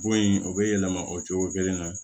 Bon in o bɛ yɛlɛma o cogo kelen na